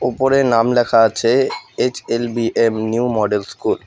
উপরে নাম লেখা আছে এইচ_এল_বি_এম নিউ মডেল স্কুল ।